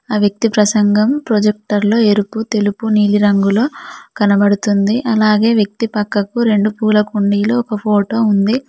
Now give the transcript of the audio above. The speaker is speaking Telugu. ఆ వ్యక్తి ప్రసంగం ప్రొజెక్టర్లు ఎరుపు తెలుపు నీలీ రంగులో కనబడుతుంది అలాగే వ్యక్తి పక్కకు రెండు పూల కుండీలు ఒక ఫోటో ఉంది.